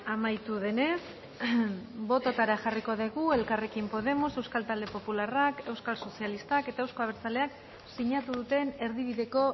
amaitu denez bototara jarriko dugu elkarrekin podemos euskal talde popularrak euskal sozialistak eta euzko abertzaleak sinatu duten erdibideko